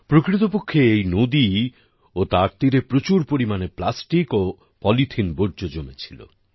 প্রকৃতপক্ষে এই নদী ও তার তীরে প্রচুর পরিমাণে প্লাস্টিক ও পলিথিন বর্জ্য জমেছিল